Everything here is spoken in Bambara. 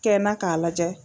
Kɛ na k'a lajɛ.